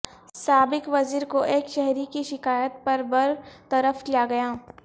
سابق وزیر کو ایک شہری کی شکایت پر برطرف کیا گیا